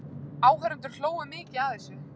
Áheyrendur hlógu mikið að þessu.